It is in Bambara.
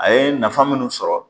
A ye nafa munnu sɔrɔ